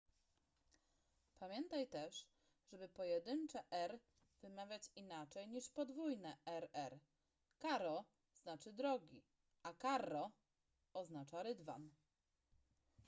pamiętaj też żeby pojedyncze r” wymawiać inaczej niż podwójne rr”: caro” znaczy drogi” a carro” oznacza rydwan